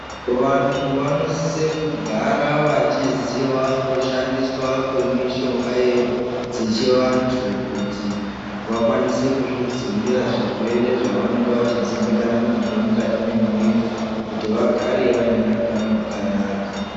Vantu vanosise kugara vachiziva kushandiswa kwemishonga dzechivantu kuti vakwanise kuzvidzivirira zvirwere zvavanonga vachidzimbikana nazvo mukati mwemwiri kuti vagare vaine hutano hwakanaka.